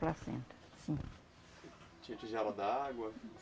Placenta, sim. Tinha tigela da água?